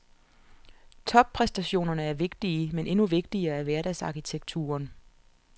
Toppræstationerne er vigtige, men endnu vigtigere er hverdagsarkitekturen.